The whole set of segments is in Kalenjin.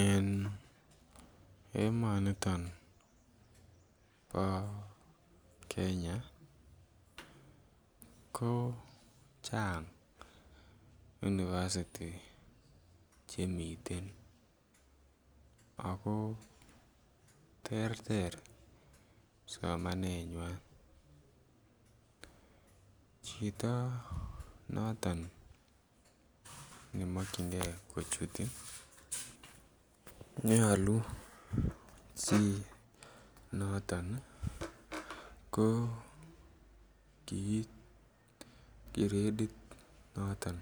En emoni bo Kenya ko chang university chemiten ago terter somanenywan chito noton ne makyingei kochut ko nyolu ko kiit gradit noton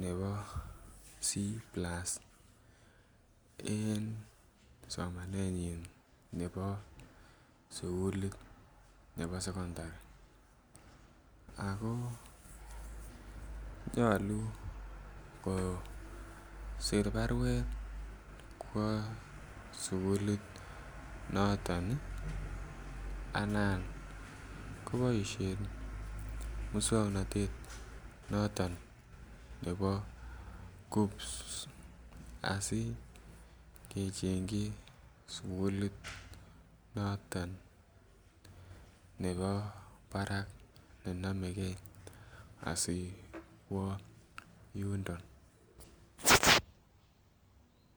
nebo C+ en somaneyin nebo sukulit nebo sekondari ako nyolu ko sir baruet kwo sukulit noton anan koboisien moswoknatet noton nebo KUCCPS asi kechengchi sukulit noton nebo barak nenomege ak yundon